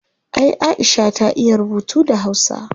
Ay aisha ta iya rubutu da hausa